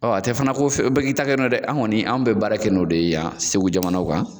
Ɔ a tɛ fana ko bɛ k'i ta kɛ n'o ye dɛ! Anw kɔni anw bɛ baara kɛ n'o de ye yan Segu jamana kan.